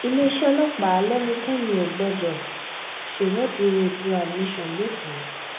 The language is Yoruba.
iléeṣẹ́ ọlọ́pàá lẹ́nikẹ́ni ò gbọ́dọ̀ ṣèwọde oodua nation lékòó